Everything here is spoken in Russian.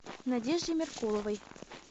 надежде меркуловой